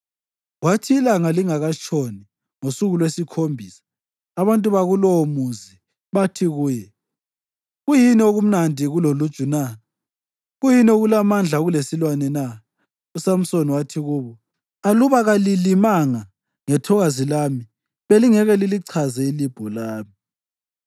Kwathi ilanga lingakatshoni ngosuku lwesikhombisa abantu bakulowomuzi bathi kuye, “Kuyini okumnandi kuloluju na? Kuyini okulamandla kulesilwane na?” USamsoni wathi kubo, “Aluba kalilimanga ngethokazi lami, belingeke lilichaze ilibho lami.”